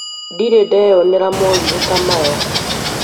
Ndirĩ ndeyonera morirũ ta maya